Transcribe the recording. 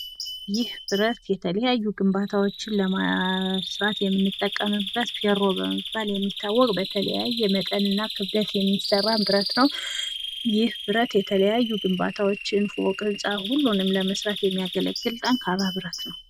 ይህ ብረት የተለያዩ ግንባታዎችን ለመስራት የምንጠቀምበት ፌሮ በመባል የሚታወቅ በተለያየ የመጠንና ክብደት የሚሠራ ብረት ነው ይህ ብረት የተለያዩ ግንባታዎችን ፎቅ ህንጻ ሁሉንም ለመራት የሚያገለግል ጠንካራ ብረት ነው።